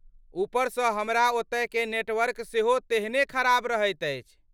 उपरसँ हमरा ओतयकेँ नेटवर्क सेहो तेहने खराब रहैत अछि।